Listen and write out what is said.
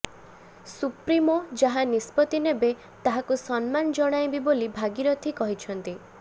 supremo ଯାହା ନିଷ୍ପତି ନେବେ ତାହାକୁ ସମ୍ମାନ ଜଣାଇବି ବୋଲି ଭାଗିରଥୀ କହିଛନ୍ତି